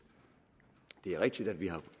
det er rigtigt at vi har